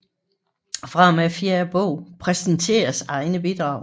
Fra og med fjerde bog præsenteres egne bidrag